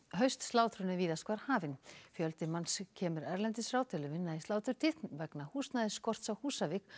haustslátrun er víðast hvar hafin fjöldi manns kemur erlendis frá til að vinna í sláturtíð vegna húsnæðisskorts á Húsavík